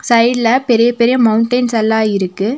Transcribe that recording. சைடுல பெரிய பெரிய மவுன்டென்ஸ் எல்லா இருக்கு.